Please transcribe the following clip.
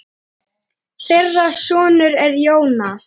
Þeirra sonur er Jónas.